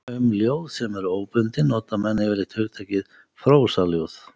Um ljóð sem eru óbundin nota menn yfirleitt hugtakið prósaljóð.